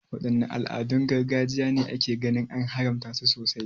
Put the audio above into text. Wadanne al'adun gargajiya ne ake ganin an haramta su sosai?